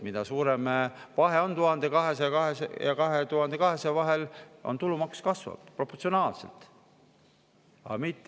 Mida suurem vahe on 1200 ja 2200 vahel – tulumaks kasvab proportsionaalselt.